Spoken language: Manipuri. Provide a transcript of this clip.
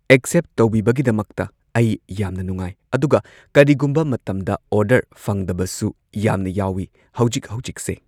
ꯑꯦꯛꯁꯦꯞ ꯇꯧꯕꯤꯕꯒꯤꯗꯃꯛꯇ ꯑꯩ ꯌꯥꯝꯅ ꯅꯨꯡꯉꯥꯏ ꯑꯗꯨꯒ ꯀꯩꯒꯨꯝꯕ ꯃꯇꯝꯗ ꯑꯣꯔꯗꯔ ꯐꯪꯗꯕꯁꯨ ꯌꯥꯝꯅ ꯌꯥꯎꯢ ꯍꯧꯖꯤꯛ ꯍꯧꯖꯤꯛꯁꯦ